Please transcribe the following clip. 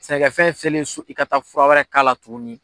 Sɛnɛkɛfɛn fiyɛli su i ka taa fura wɛrɛ kala tugunni.